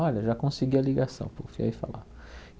Olha, já consegui a ligação. e falar